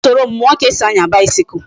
I ga esoro m muo ka esi anya bicycle